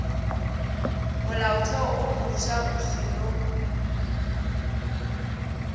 molaotheo wo mofsa o seno